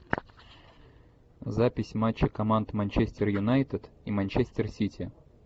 запись матча команд манчестер юнайтед и манчестер сити